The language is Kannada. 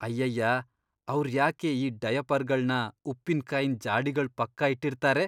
ಅಯ್ಯಯ್ಯಾ.. ಅವ್ರ್ ಯಾಕೆ ಈ ಡಯಪರ್ಗಳ್ನ ಉಪ್ಪಿನಕಾಯಿನ್ ಜಾಡಿಗಳ್ ಪಕ್ಕ ಇಟ್ಟಿರ್ತಾರೆ?